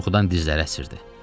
Qorxudan dizləri əsirdi.